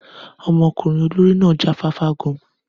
Ọmọkùnrin olórí náà já fáfá gan-an.